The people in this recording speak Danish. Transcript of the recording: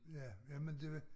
Ja jamen det